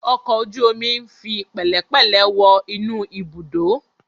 Ọkọ̀ ojú omi ń fi pẹ̀lẹ́pẹ̀lẹ̀ wọ inú ibùdó.